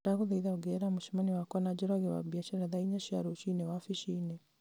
ndagũthaitha ongerera mũcemanio wakwa na njoroge wa mbiacara thaa inya cia rũciinĩ wabici-inĩ